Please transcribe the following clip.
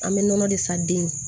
An bɛ nɔnɔ de san den